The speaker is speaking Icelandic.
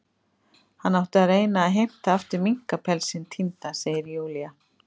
Hann átti að reyna að heimta aftur minkapelsinn týnda, segir Júlía.